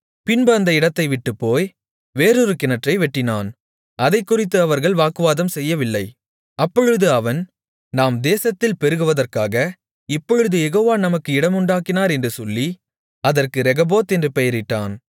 பின்பு அந்த இடத்தைவிட்டுப் போய் வேறொரு கிணற்றை வெட்டினான் அதைக்குறித்து அவர்கள் வாக்குவாதம் செய்யவில்லை அப்பொழுது அவன் நாம் தேசத்தில் பெருகுவதற்காக இப்பொழுது யெகோவா நமக்கு இடமுண்டாக்கினார் என்று சொல்லி அதற்கு ரெகொபோத் என்று பெயரிட்டான்